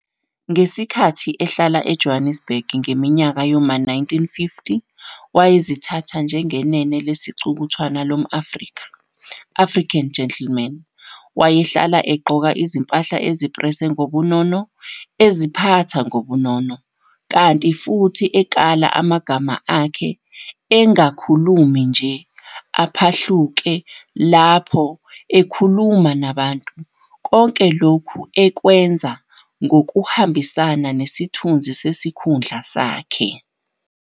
Ngesikhathi ehlala eJohannesburg ngeminyaka yoma 1950, wayezithatha njengenene lesicukuthwana lom-Afrika, Afrian gentleman, wayehlala egqoka izimpahla eziprese ngobunono, eziphatha ngobunono, kanti futhi ekala amagama akhe engakhulumi nje aphahluke laho ekhuluma nabantu, konke lokhu ekwenza ngokuhambisana nesithunzi sesikhundla sakhe.